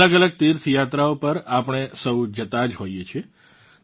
અલગઅલગ તીર્થ યાત્રાઓ પર આપણે સૌ જતાં જ હોઇએ છીએ